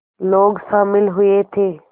लोग शामिल हुए थे